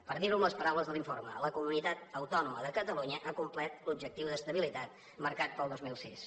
per dirho amb les paraules de l’informe la comunitat autònoma de catalunya ha complert l’objectiu d’estabilitat marcat per al dos mil sis